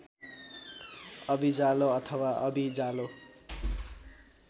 अभिजालो अथवा अबिजालो